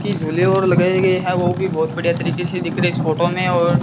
की झूले और लगाए गए हैं वो भी बहुत बढ़िया तरीके से दिख रहे इस फोटो में और--